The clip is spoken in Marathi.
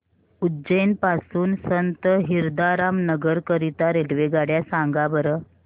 उज्जैन पासून संत हिरदाराम नगर करीता रेल्वेगाड्या सांगा बरं